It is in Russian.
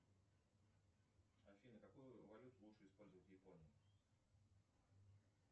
афина какую валюту лучше использовать в японии